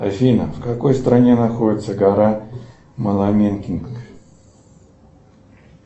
афина в какой стране находится гора моламенкинг